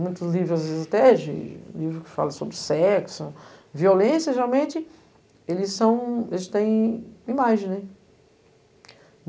Muitos livros, às vezes, livros que falam sobre sexo, violência, geralmente, eles são, eles têm imagens, né.